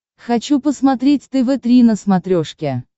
хочу посмотреть тв три на смотрешке